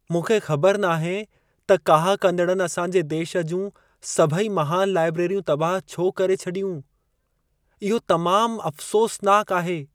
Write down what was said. मूंखे ख़बर नाहे त काह कंदड़नि असांजे देश जूं सभई महानु लाइब्रेरियूं तबाह छो करे छॾियूं। इहो तमामु अफ़सोसनाकु आहे।